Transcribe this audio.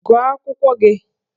Gụọ akwụkwọ gị!